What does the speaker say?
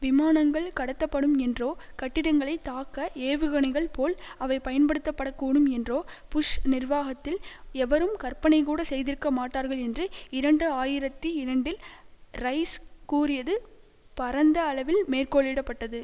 விமானங்கள் கடத்தப்படும் என்றோ கட்டிடங்களை தாக்க ஏவுகணைகள் போல் அவை பயன்படுத்தப்படக்கூடும் என்றோ புஷ் நிர்வாகத்தில் எவரும் கற்பனைகூட செய்திருக்க மாட்டார்கள் என்று இரண்டு ஆயிரத்தி இரண்டில் ரைஸ் கூறியது பரந்த அளவில் மேற்கோளிடப்பட்டது